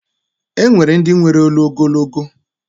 E nwere ndi nwere olu ogologo.